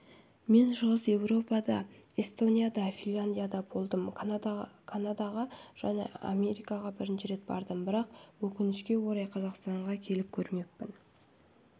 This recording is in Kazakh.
мен шығыс еуропада эстонияда финляндияда болдым канадаға және америкаға бірнеше рет бардым бірақ өкінішкеорай қазақстанға келіп көрмеппін